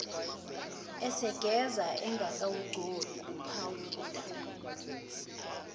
esegeza engakawugcobi uphawuda